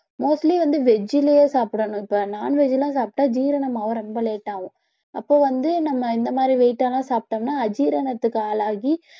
mostly வந்து veg லயே சாப்பிடணும் இப்ப non veg எல்லாம் சாப்பிட்டா ஜீரணமாக ரொம்ப late ஆகும் அப்போ வந்து நம்ம இந்த மாதிரி weight எல்லாம் சாப்பிட்டோம்னா அஜீரணத்துக்கு ஆளாகி